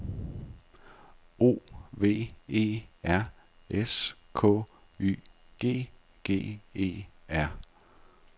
O V E R S K Y G G E R